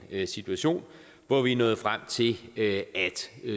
en situation hvor vi er nået frem til at